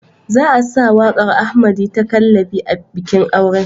Za a sa waƙar Ahmerdy ta "Kallabi" a bikin auren.